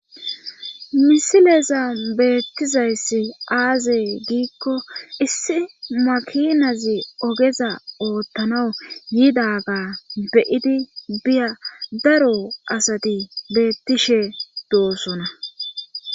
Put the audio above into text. misileza beettizayssi aazey giikko issi makinazi ogeza oottanawu yiidaga beyidi biya daro asati beettishe doosona